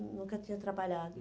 Nun nunca tinha trabalhado.